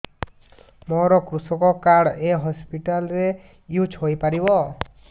ମୋର କୃଷକ କାର୍ଡ ଏ ହସପିଟାଲ ରେ ୟୁଜ଼ ହୋଇପାରିବ